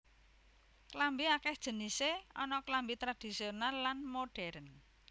Klambi akèh jenisé ana klambi tradhisional lan modhèrn